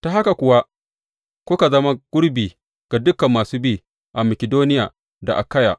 Ta haka kuwa kuka zama gurbi ga dukan masu bi a Makidoniya da Akayya.